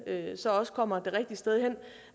kommer det rigtige sted hen